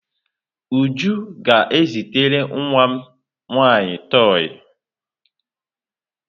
Uju ga-ezitere nwa m nwaanyị toi.